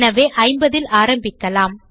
எனவே 50 ல் ஆரம்பிக்கலாம்